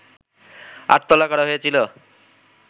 আটতলা করা হয়েছিল